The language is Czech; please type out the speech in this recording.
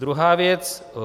Druhá věc.